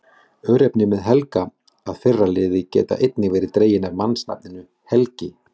Örnefni með Helga- að fyrra lið geta einnig verið dregin af mannsnafninu Helgi.